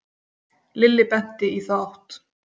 Lilli benti í þá átt.